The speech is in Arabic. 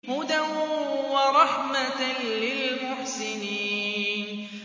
هُدًى وَرَحْمَةً لِّلْمُحْسِنِينَ